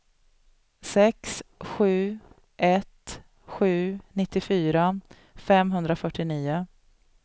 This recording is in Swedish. sex sju ett sju nittiofyra femhundrafyrtionio